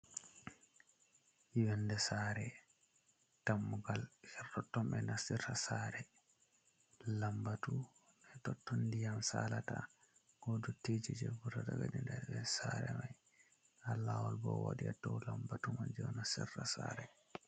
Nyenɗe sare tammugal her tonton be nastirra sare. Lambatu totto ndiyam saalata bo duttiji je vurtata be nder be sare mai. Ha lawol bo wadia dow lambatu man jeo nastirra sare.